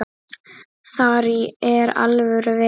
Þar er alvöru vetur.